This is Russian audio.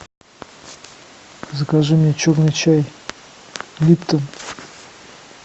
закажи мне черный чай липтон